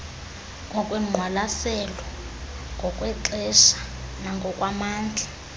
ngokwengqwalaselo ngokwexesha nangokwamandla